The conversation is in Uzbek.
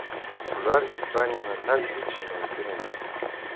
Ular Ispaniyani tark etishi mumkin emas.